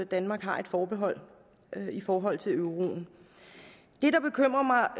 danmark har et forbehold i forhold til euroen